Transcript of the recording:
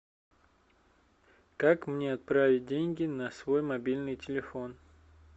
как мне отправить деньги на свой мобильный телефон